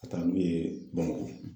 Ka taa n'u ye Bamakɔ.